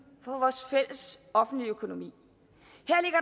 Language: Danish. for vores fælles offentlige økonomi